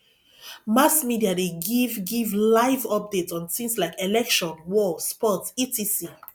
mass media de give give live update on things like election war sports etc